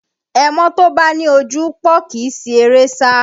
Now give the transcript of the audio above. Ẹmọ́ tó bá ní ojúpòó kì í si eré sá